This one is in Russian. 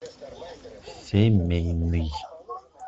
семейный